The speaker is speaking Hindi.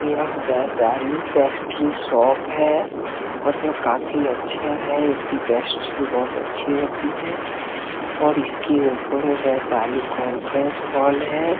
यह बैशाली पेस्ट्री शॉप है और यह काफ़ी अच्छा है इसकी पेस्ट्री भी काफ़ी अच्छी होती है और इसकी ऊपर वैशाली कॉन्फरेंस हॉल है।